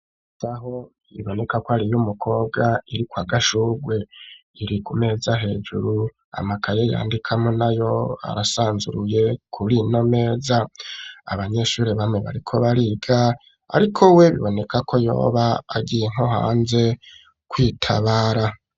Isaho biboneka ko aruyu mukobwa iri kwa gashurwe iri ku meza hejuru amakaye yandikamwo nayo arasanzuruye kurino meza abanyeshuri bamwe bariko bariga ariko we biboneka ko yoba agiye nko hanze kwitabara.